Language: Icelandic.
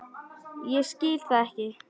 Ég skil það ekki.